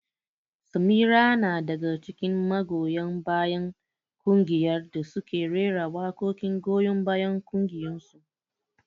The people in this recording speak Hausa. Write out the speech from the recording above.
Samira na daga cikin magoya bayan kungiyar da suke rera waƙoƙin goyon bayan ƙungiyarsu.